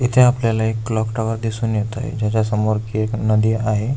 इथे आपल्याला एक क्लॉक टॉवर दिसून येत आहे ज्याच्या समोर की एक नदी आहे.